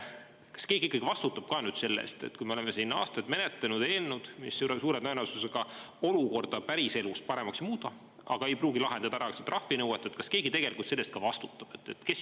Kas keegi vastutab ka nüüd sellest, et kui me oleme siin aastaid menetlenud eelnõu, mis suure tõenäosusega olukorda päriselus paremaks ei muuda, aga ei pruugi lahendada ära trahvinõuet, kas keegi tegelikult selle eest ka vastutab?